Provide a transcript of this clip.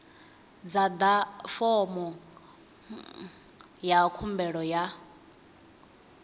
ḓadza fomo ya khumbelo ya